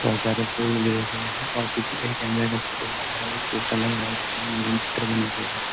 और सारे फूल गिरे हुए हैंऔर पीछे एक फोटो आरहा है और एक पोस्टर लगा हुआ है चित्र बने हुए हैं।